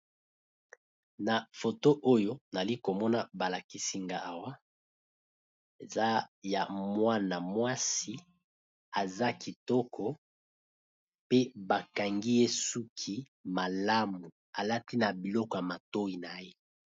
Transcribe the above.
Na foto oyo nali komona balakisi ngaawa za ya mwana mwasi aza kitoko pe bakangi esuki malamu alati na biloko ya matoi na ye.